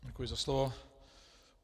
Děkuji za slovo.